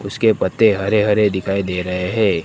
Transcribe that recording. उसके पत्ते हरे हरे दिखाई दे रहे है।